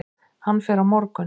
Hann fer á morgun.